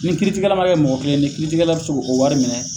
Ni kiiritikɛ la ma kɛ mɔgɔ kilenni ye kiiri tigɛla bi se ko wari minɛ